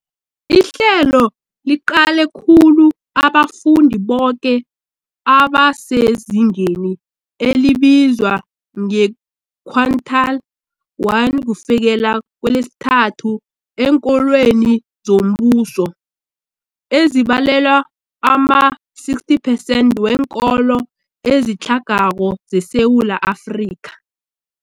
Ihlelo liqale khulu abafundi boke abasezingeni elibizwa nge-quintile 1-3 eenkolweni zombuso, ezibalelwa ama-60 percent weenkolo ezitlhagako zeSewula Afrika.